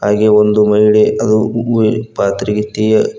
ಹಾಗೆ ಒಂದು ಮಹಿಳೆ ಅದು ಪಾತರಗಿತ್ತಿ.